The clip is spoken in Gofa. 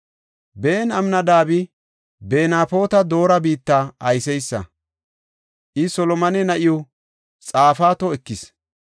Ben-Aminadaabi, Benafoota Doora biitta ayseysa; I Solomone na7iw Xaafato ekis.